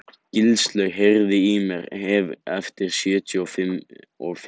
Gilslaug, heyrðu í mér eftir sjötíu og fimm mínútur.